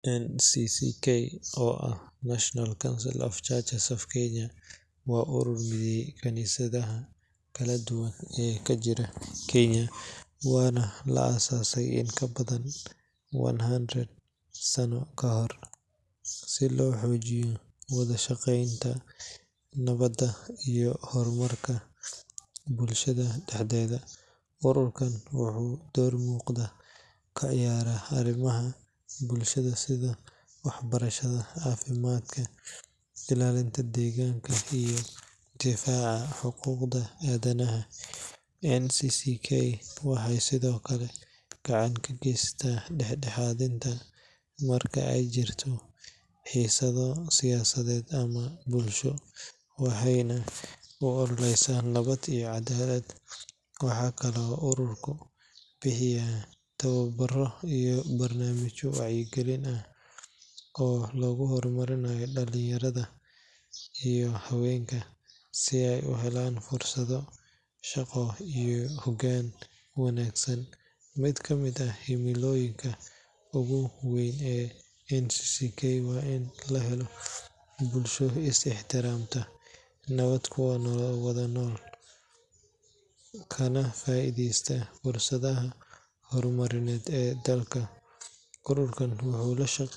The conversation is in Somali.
NCCK oo ah National Council of Churches of Kenya waa urur mideeya kaniisadaha kala duwan ee ka jira Kenya, waxaana la aasaasay in ka badan one hundred sano ka hor, si loo xoojiyo wada shaqeynta, nabadda, iyo horumarka bulshada dhexdeeda. Ururkan wuxuu door muuqda ka ciyaaraa arrimaha bulshada sida waxbarashada, caafimaadka, ilaalinta deegaanka, iyo difaaca xuquuqda aadanaha. NCCK waxay sidoo kale gacan ka geysataa dhexdhexaadinta marka ay jiraan xiisado siyaasadeed ama bulsho, waxayna u ololeysaa nabad iyo cadaalad. Waxaa kaloo ururku bixiya tababaro iyo barnaamijyo wacyigelin ah oo lagu horumarinayo dhalinyarada iyo haweenka, si ay u helaan fursado shaqo iyo hoggaan wanaagsan. Mid ka mid ah himilooyinka ugu weyn ee NCCK waa in la helo bulsho is ixtiraamta, nabad ku wada nool, kana faa’iideysa fursadaha horumarineed ee dalka. Ururkan wuxuu la shaqeeyaa.